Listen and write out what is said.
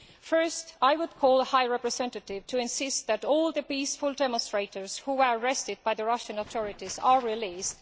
First, I would call on the High Representative to insist that all the peaceful demonstrators who were arrested by the Russian authorities are released.